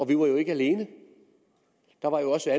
vi var ikke alene der var jo også